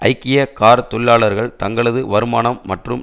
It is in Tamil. ஐக்கிய கார் தொழிலாளர்கள் தங்களது வருமானம் மற்றும்